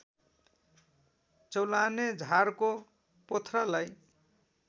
चौलाने झारको पोथ्रालाई